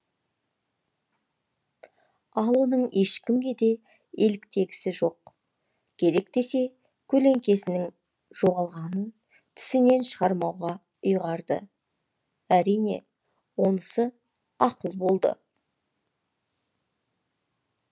ал оның ешкімге де еліктегісі жоқ керек десе көлеңкесінің жоғалғанын тісінен шығармауға ұйғарды әрине онысы ақыл болды